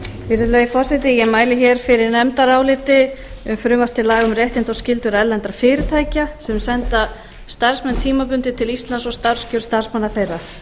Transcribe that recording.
virðulegi forseti ég mæli fyrir nefndaráliti um frumvarp til laga um réttindi og skyldur erlendra fyrirtækja sem senda starfsmenn tímabundið til íslands og starfskjör starfsmanna þeirra